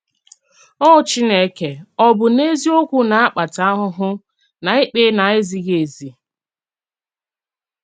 Ò Chínèkè ọ bụ́ n’eziòkwù na-akpàtà àhụ̀hụ̀ nà ìkpè na-èzíghì-èzí?